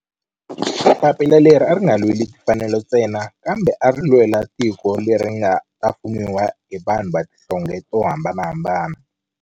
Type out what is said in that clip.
Papila leri a ri nga lweli timfanelo ntsena kambe ari lwela tiko leri nga ta fumiwa hi vanhu va tihlonge to hambanahambana.